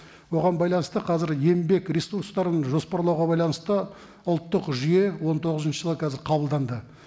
оған байланысты қазір еңбек ресурстарын жоспарлауға байланысты ұлттық жүйе он тоғызыншы жылы қазір қабылданды